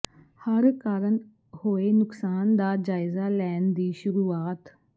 ਹੜ੍ਹ ਕਾਰਨ ਹੋਏ ਨੁਕਸਾਨ ਦਾ ਜਾਇਜ਼ਾ ਲੈਣ ਦੀ ਸ਼ੁਰੂਆਤ